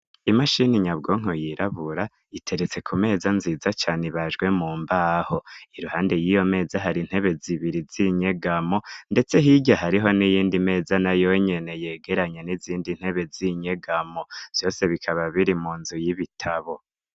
Imashini nyabwonko yirabura iteretse ku meza nziza cane ibajwe mu mbaho, iruhande yiyo meza hari intebe zibiri z'inyegamo ndetse hirya hariho n'iyindi meza nayo nyene yegeranye n'izindi ntebe z'inyegamo vyose bikaba biri mu nzu y'ibitabo.